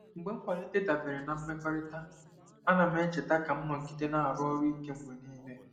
Mgbe nkwalite dabere na mmekọrịta, ana m echeta ka m nọgide na-arụ ọrụ ike mgbe niile.